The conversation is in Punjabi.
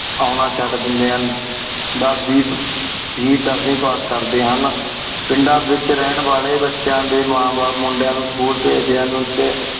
ਉਨਾ ਛੱਡ ਦੇਂਦੀ ਹੁਣ ਦਸ ਵੇ ਦਸਵੀ ਪਾਸ ਕਰਦੇ ਹੁਣ ਪਿੰਡਾਂ ਵੇਚ ਰਹਨ ਵਾਲੀ ਬੱਚਿਆਂ ਡੀ ਮਾ ਬਾਪ ਮੁੰਡਿਆਂ ਨੂੰ school ਬੇਜਦੇ ਹੁਣ ਟੀ